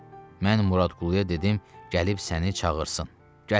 Mən Muradquluya dedim gəlib səni çağırsın.